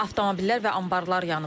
Avtomobillər və anbarlar yanıb.